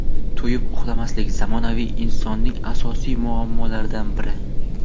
To‘yib uxlamaslik — zamonaviy insonning asosiy muammolaridan biri.